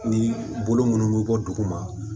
Ni bolo munnu bɛ bɔ duguma